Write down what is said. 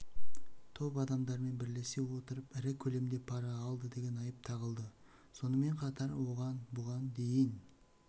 топ адамдармен бірлесе отырыпірі көлемде пара алды деген айып тағылды сонымен қатар оған бұған дейін